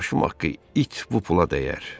Başım haqqı it bu pula dəyər.